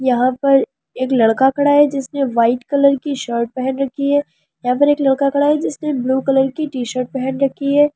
यहाँ पर एक लड़का खड़ा है जिसने वाइट कलर की शर्ट पेहन राखी है यहाँ पर एक लड़का खड़ा है जिसने ब्लू कलर की टी_शर्ट पेहन राखी है।